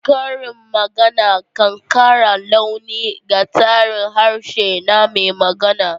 Karin magana kan kara launi ga tsarin harshe na mai magana.